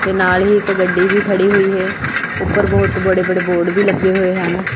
ਤੇ ਨਾਲ ਹੀ ਇੱਕ ਗੱਡੀ ਵੀ ਖੜੀ ਹੋਈ ਹੈ ਉੱਪਰ ਬਹੁਤ ਵੱਡੇ ਵੱਡੇ ਬੋਰਡ ਵੀ ਲੱਗੇ ਹੋਏ ਹਨ।